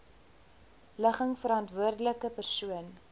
ligging verantwoordelike persoon